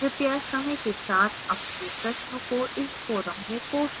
कृपय समय के साथ अपने प्रश्नों को इस forum में post करें